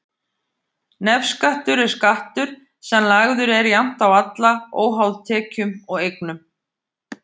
Nefskattur er skattur sem lagður er jafnt á alla, óháð tekjum og eignum.